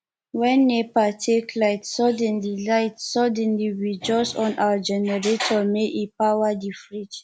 wen nepa take light suddenly light suddenly we just on our generator make e power di fridge